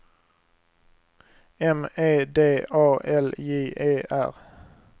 M E D A L J E R